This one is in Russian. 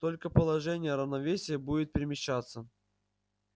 только положение равновесия будет перемещаться